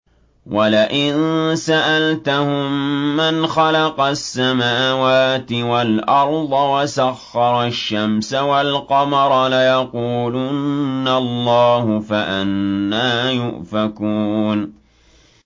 وَلَئِن سَأَلْتَهُم مَّنْ خَلَقَ السَّمَاوَاتِ وَالْأَرْضَ وَسَخَّرَ الشَّمْسَ وَالْقَمَرَ لَيَقُولُنَّ اللَّهُ ۖ فَأَنَّىٰ يُؤْفَكُونَ